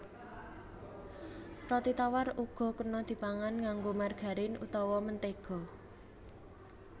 Roti tawar uga kena dipangan nganggo margarin utawa mentéga